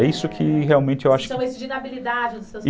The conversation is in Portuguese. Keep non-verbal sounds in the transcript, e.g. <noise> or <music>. É isso que realmente eu acho... São esses <unintelligible>